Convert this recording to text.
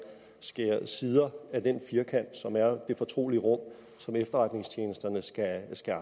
sider af den firkant som er det fortrolige rum som efterretningstjenesterne skal